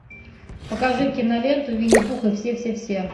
покажи киноленту винни пух и все все все